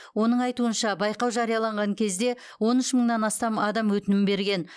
оның айтуынша байқау жарияланған кезде он үш мыңнан астам адам өтінім берген